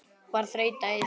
Var þreyta í þeim?